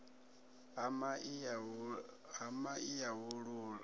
ha mai ya u laula